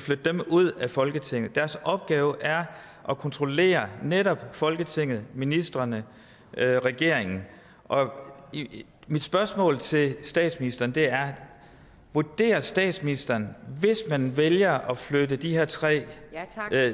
flytte dem ud af folketinget deres opgave er at kontrollere netop folketinget ministrene regeringen mit spørgsmål til statsministeren er vurderer statsministeren at hvis man vælger at flytte de her tre